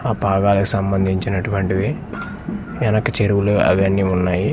ఆ పాదాలకు సంబంధించినటువంటివి ఎనక చెరువులు అవన్నీ ఉన్నాయి.